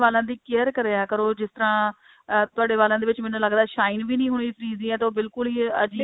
ਵਾਲਾਂ ਦੀ care ਕਰਿਆ ਕਰੋ ਜਿਸ ਤਰ੍ਹਾਂ ਅਹ ਤੁਹਾਡੇ ਵਾਲਾਂ ਦੇ ਵਿੱਚ ਮੈਨੂੰ ਲੱਗਦਾ shine ਵੀ ਨਹੀਂ ਹੋਏਗੀ ਤਾਂ ਬਿਲਕੁਲ ਹੀ ਅਜੀਵ